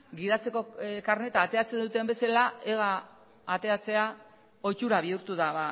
gidatzeko karneta ateratzen duten bezala ega ateratzea ohitura bihurtu da